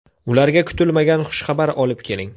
Ularga kutilmagan xushxabar olib keling.